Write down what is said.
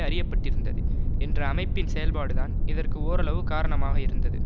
அறிய பட்டிருந்தது என்ற அமைப்பின் செயல்பாடுதான் இதற்கு ஓரளவு காரணமாக இருந்தது